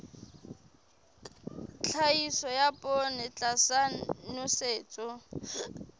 tlhahiso ya poone tlasa nosetso